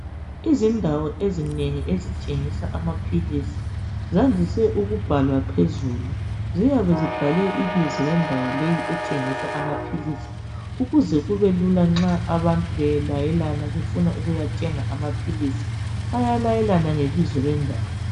Izindawo ezinengi ezithengisa amaphilisi zandiswe ukubhalwa phezulu . Ziyabe zibhalwe ibizo lendawo le ethengisa ukuze kubelula nxa abantu belayelana befuna ukuyathenga amaphilisi, bayalayelana ngebizo lendawo.